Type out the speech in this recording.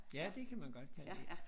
Ja det kan man godt kalde det